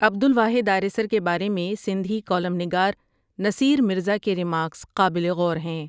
عبدالواحد آریسر کے بارے میں سندھی کالم نگار نصیر مرزا کے رمارکس قابل غور ھیں۔